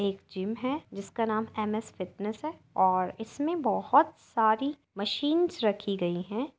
एक जिम है जिसका नाम एम.एस. फिटनेस है और इसमें बहुत सारी मशीन्स रखी गई हैं।